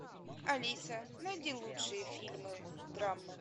алиса найди лучшие фильмы драмы